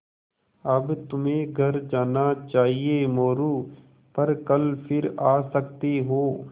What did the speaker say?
अब तुम्हें घर जाना चाहिये मोरू पर कल फिर आ सकते हो